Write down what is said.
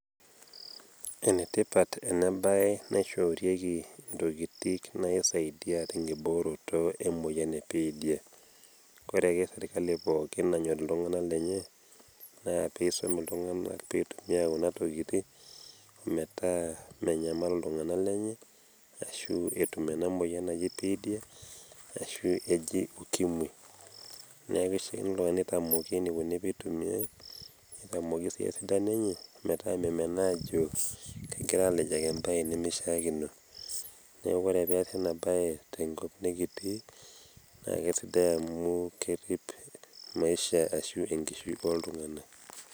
enetipate ena bae naishoorieki intokitin naisadia tenkibooroto emoyian ebiitia. ore ake sirkali pookin nayor iltungana lenye naa pee isum iltunganak pee eitumia kuna tokitin metaa menyamal iltungana lenye. ashu etum ena moyian naji biitia ashu eji ukimwi neeku keishaakino iltungana neitaoki eneiko tenitumiae, netiamoki sii esidano enye .metaa memenaa aajo kegirae aalejaki ebae neimeshaakino. neeku ore pee eesi ina bae tenkop nikitii naa kisidai amu, kerip maisha ashu enkishui ooltungana.